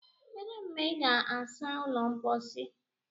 Kedu mgbe ị ga-asa ụlọ mposi?